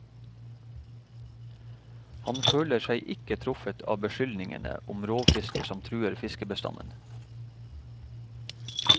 Han føler seg ikke truffet av beskyldningene om rovfiske som truer fiskebestanden.